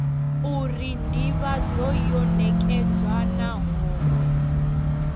uri ndivhadzo yo nekedzwa nahone